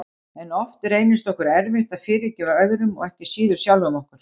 Jú, sagði ég þér ekki frá honum þegar við hittumst í morgun?